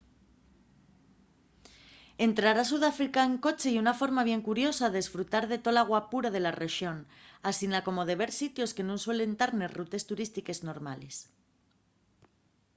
entrar a sudáfrica en coche ye una forma bien curiosa d'esfrutar de tola guapura de la rexón asina como de ver sitios que nun suelen tar nes rutes turístiques normales